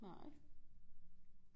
Nej